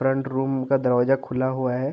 Front room का दरवाजा खुला हुआ हैं।